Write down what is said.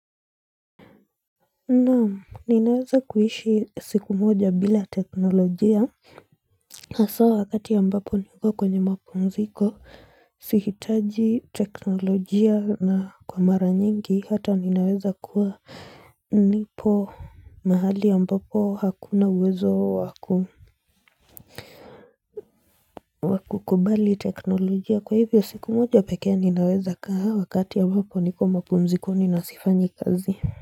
Naam, ninaweza kuishi siku moja bila teknolojia haswa wakati ambapo niko kwenye mapumziko sihitaji teknolojia na kwa mara nyingi hata ninaweza kuwa nipo mahali ambapo hakuna uwezo wa kukubali teknolojia kwa hivyo siku moja pekee ninaweza kaa wakati ambapo niko mapumzikoni na sifanyi kazi.